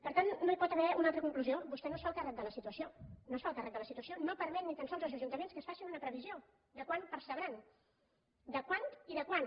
per tant no hi pot haver una altra conclusió vostè no es fa el càrrec de la situació no es fa el càrrec de la situació no permet ni tan sols als ajuntaments que facin una previsió de quant percebran de quant i de quan